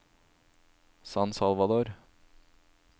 San Salvador